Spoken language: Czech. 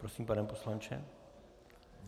Prosím, pane poslanče.